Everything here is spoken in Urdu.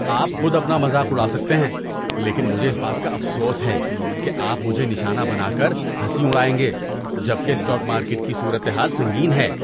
آپ خود اپنا مذاق اڑا سکتے ہیں لیکن مجھے اس بات کا افسوس ہے کہ آپ مجھے نشانہ بنا کر ہنسی اڑائیں گے جبکہ اسٹاک مارکیٹ کی صورت حال سنگین ہے۔